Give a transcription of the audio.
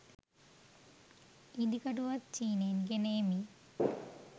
ඉදිකටුවත් චීනයෙන් ගෙන එමි